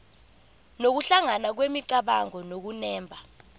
nokuhlangana kwemicabango nokunemba